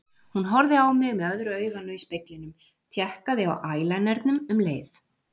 Hún horfði á mig með öðru auganu í speglinum, tékkaði á ælænernum um leið.